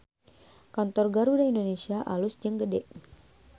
Kantor Garuda Indonesia alus jeung gede